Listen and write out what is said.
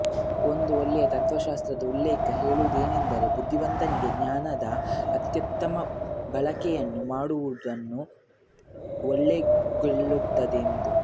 ಒಂದು ಒಳ್ಳೆಯ ತತ್ತ್ವಶಾಸ್ತ್ರದ ಉಲ್ಲೇಖವು ಹೇಳುವುದೇನೆಂದರೆ ಬುದ್ಧಿವಂತಿಕೆಯು ಜ್ಞಾನದ ಅತ್ಯುತ್ತಮ ಬಳಕೆಯನ್ನು ಮಾಡುವುದನ್ನು ಒಳಗೊಳ್ಳುತ್ತದೆ